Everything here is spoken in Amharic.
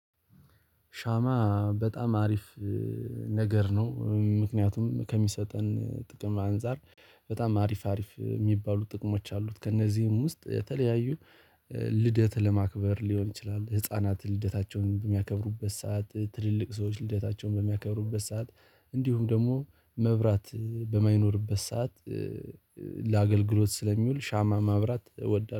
ሻማ በጣም አሪፍ ነገር ነው። ምክንያቱም ከሚሰጠን ጥቅም አንፃር በጣም አሪፍ አሪፍ የሚባሉ ጥቅሞች አሉት። ከእነዚህም ውስጥ የተለያዩ ልደት ለማክበር ሊሆን ይችላል። ህፃናት ልደታቸውን በሚያከብሩበት ሰዓት ትልልቅ ሰዎች ልደታቸውን በሚያከብሩበት ሰዓት እንዲሁም ደግሞ መብራት በማይኖርበት ሰዓት። ለአገልግሎት ስለሚውል ሻማ ማብራት እወዳለሁ